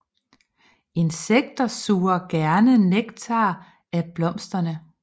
Insekter suger gerne nektar af blomsterne